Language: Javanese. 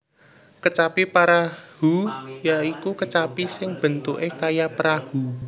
Kecapi Parahu ya iku kecapi sing bentuke kaya perahu